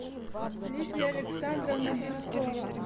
лидия александровна бирюкова